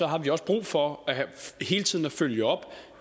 har vi også brug for hele tiden at følge op